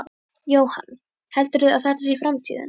Jóhann: Heldurðu að þetta sé framtíðin?